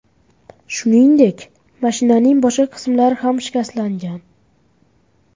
Shuningdek, mashinaning boshqa qismlari ham shikastlangan.